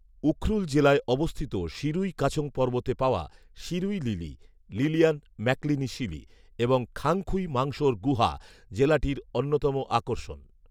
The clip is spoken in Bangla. উখরুল জেলায় অবস্থিত শিরুই কাছং পর্বতে পাওয়া শিরুই লিলি, লিলিয়ান ম্যাকলিনি শিলি, এবং খাংখুই মাংসোর গুহা জেলাটির অন্যতম আকর্ষণ